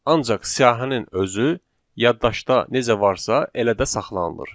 Ancaq siyahının özü yaddaşda necə varsa, elə də saxlanılır.